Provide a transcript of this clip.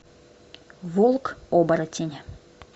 волк оборотень